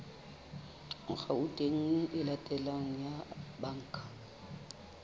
akhaonteng e latelang ya banka